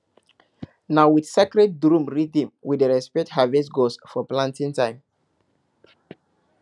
na with sacred drum rhythm we dey respect harvest gods for planting time